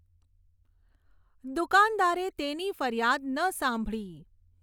દુકાનદારે તેની ફરિયાદ ન સાંભળી.